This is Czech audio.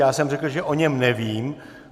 Já jsem řekl, že o něm nevím.